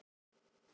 En þannig fór.